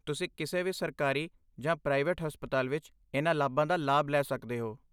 ਤੁਸੀਂ ਕਿਸੇ ਵੀ ਸਰਕਾਰੀ ਜਾਂ ਪ੍ਰਾਈਵੇਟ ਹਸਪਤਾਲ ਵਿੱਚ ਇਹਨਾਂ ਲਾਭਾਂ ਦਾ ਲਾਭ ਲੈ ਸਕਦੇ ਹੋ।